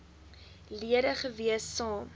lede gewees saam